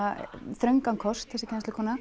þröngan kost þessi kennslukona